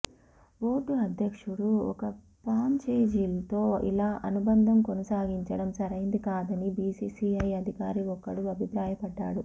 board అధ్యక్షుడు ఒక ఫ్రాంచైజీతో ఇలా అనుబంధం కొనసాగించడం సరైంది కాదని బీసీసీఐ అధికారి ఒకరు అభిప్రాయపడ్డారు